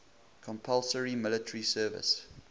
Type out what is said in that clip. compulsory military service